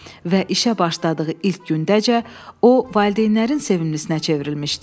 Və işə başladığı ilk gündəcə o valideynlərin sevimlisi nə çevrilmişdi.